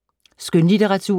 Skønlitteratur